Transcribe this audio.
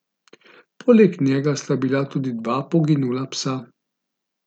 Poleg njega sta bila tudi dva poginula psa.